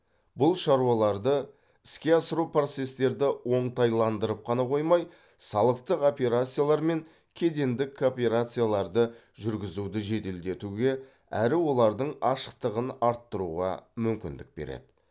бұл шаруаларды іске асыру процестерді оңтайландырып қана қоймай салықтық операциялар мен кедендік кооперацияларды жүргізуді жеделдетуге әрі олардың ашықтығын арттыруға мүмкіндік береді